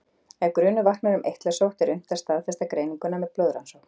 Ef grunur vaknar um eitlasótt er unnt að staðfesta greininguna með blóðrannsókn.